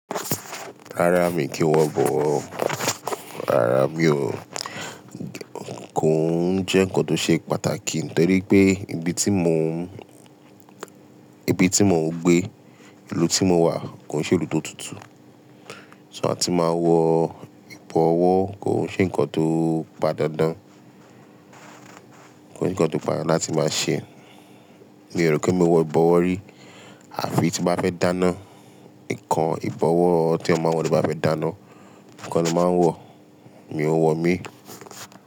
Rárá mi kìí wọ̀ bọ̀wọ́. Rárá mi ò. Kò ń jẹ́ ǹkan tó ṣe pàtàkì torí pé ibi tí mo ń, ibi tí mo ń gbé, ìlú tí mo wà kò ń ṣe ìlú tó tutù. Ṣó a tí máa wọ ìbọ̀wọ́ kò ń ṣe ǹkan tó pàdáǹdán, kò ń ṣe ǹkan tí bàá láti máa ṣe. Mi ò rò kí mo wọ ìbọ̀wọ́ rí. Àfi tí bá fẹ́ dáná, ǹkan ìbọ̀wọ́ tí a máa ń wọ̀ tí a bá fẹ́ dáná, nǹkan ló máa ń wọ̀, mi ò ń wọ̀ mí.